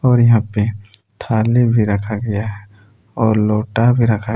और यहा पे थाले भी रखा गया है और लौटा भी रखा--